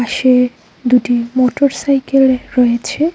পাশে দুটি motorcycle রয়েছে।